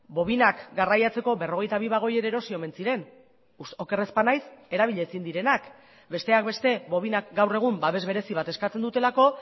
bobinak garraiatzeko berrogeita bi bagoi ere erosi omen ziren oker ez banaiz erabili ezin direnak besteak beste bobinak gaur egun babes berezi bat eskatzen dutelako